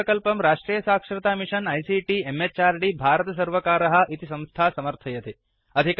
एतं प्रकल्पं राष्ट्रिय साक्षरता मिषन् आईसीटी म्हृद् भारत सर्वकारः इति संस्था समर्थयति